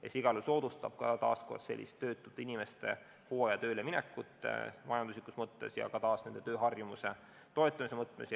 See igal juhul soodustab samuti töötute inimeste hooajatööle minekut majanduslikus mõttes ja ka nende tööharjumuse toetamise mõttes.